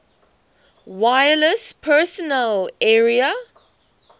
wireless personal area